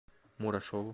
мурашову